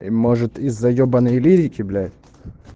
и может из-за ебанной лирики блять